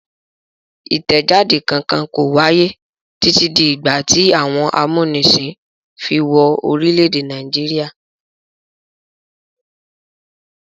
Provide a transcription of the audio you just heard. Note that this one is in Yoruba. Ìtẹjáde kankan kò wáyé títí di ìgbà tí àwọn amúnisìn fi wọ orílẹ̀-èdè Nàìjíríà.